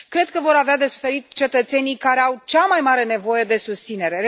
Cred că vor avea de suferit cetățenii care au cea mai mare nevoie de susținere.